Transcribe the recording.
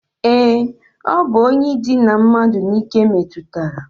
E, o bu onye idina mmadu n'ike metutara.